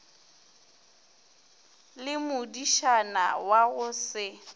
le modišana wa go se